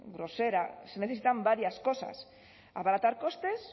grosera se necesitan varias cosas abaratar costes